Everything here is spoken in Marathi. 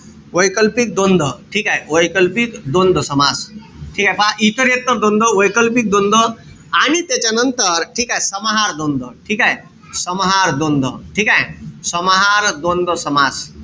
वैकल्पिक द्वंद्व ठीकेय? वैकल्पिक द्वंद्व समास. ठीकेय? पहा इतरेत्तर द्वंद्व, वैकल्पिक द्वंद्व आणि त्याच्यानंतर ठीकेय? समाहार द्वंद्व. ठीकेय? समाहार द्वंद्व. ठीकेय? समाहार द्वंद्व समास.